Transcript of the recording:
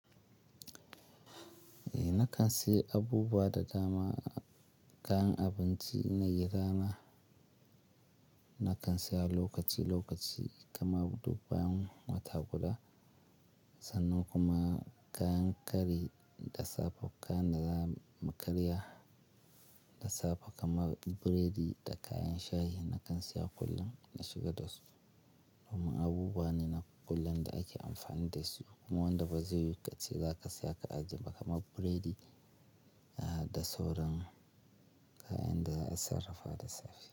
Eh nakan sayi abubuwa da dama, kayan abinci na yi rana. Nakan saya lokaci lokaci kamar dubban wata guda sannan kuma kayan kari da safe, kayan da zamu karya da safe kamar burodi da kayan shayi nakan saya kullum na shiga dasu. Kuma abubuwa ne na kullum da ake amfani dasu. Kuma wanda bazai yiwo kace za ka saya ka ajiye ba kamar burodi da sauran kayan da za a sarrafa da safe.